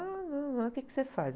Ah, não, mas o quê que você faz?